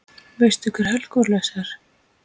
Veistu hver Hercules er?